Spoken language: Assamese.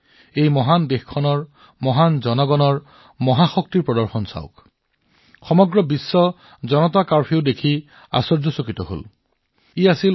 কিন্তু এই মহান দেশৰ মহান নাগৰিকসকলৰ মহাশক্তিৰ অভিজ্ঞতা চাওক জনতা কাৰ্ফিউ সমগ্ৰ বিশ্বৰ বাবে এক বিস্ময়কৰ বিষয় হৈ পৰিছিল